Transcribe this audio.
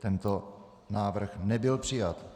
Tento návrh nebyl přijat.